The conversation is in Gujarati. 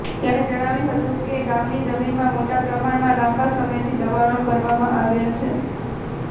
તેમણે જણાવ્યું હતું કે ગામની જમીનમાં મોટા પ્રમાણમાં લાંબા સમયથી દબાણો કરવામાં આવ્યાં છે